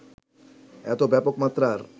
এত ব্যাপক মাত্রার